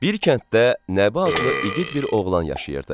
Bir kənddə Nəbi adlı igid bir oğlan yaşayırdı.